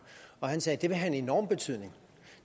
han sagde at det vil have en enorm betydning